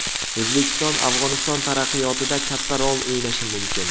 O‘zbekiston Afg‘oniston taraqqiyotida katta rol o‘ynashi mumkin.